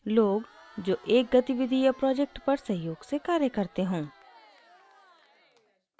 * लोग जो एक गतिविधि या project पर सहयोग से कार्य करते हों